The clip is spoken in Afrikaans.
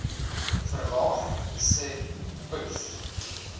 verlaag sê uys